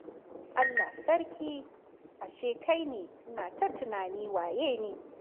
Allah Sarki! Ashe kai ne! Ina ta tunani waye ne.